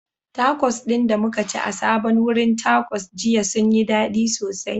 Takos ɗin da muka ci a sabon wurin Takos jiya sun yi dadi sosai